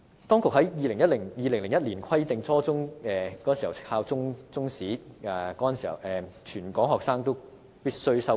當局在2001年規定初中必須教授中史，全港學生均須修讀。